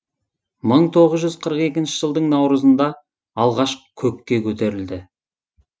мың тоғыз жүз қырық екі жылдың наурызында алғаш көкке көтерілді